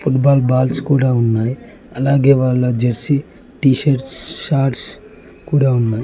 Football balls కూడా ఉన్నాయ్ అలాగే వాళ్ళ జెర్సీ టీషర్ట్స్ షార్ట్స్ కూడా ఉన్నాయ్.